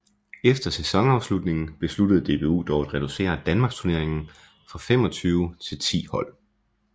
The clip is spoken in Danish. Efter sæsonafslutningen besluttede DBU dog at reducere Danmarksturneringen fra 25 til 10 hold